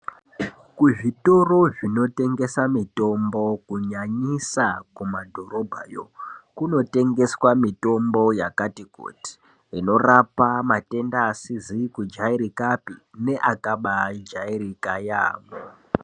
Kuzvitoro zvinotengesa mitombo kunyanyisa kumadhorobhayo. Kunotengeswa mitombo yakati kuti inorapa matenda asizi kujairikapi neakaba jairika yaamho.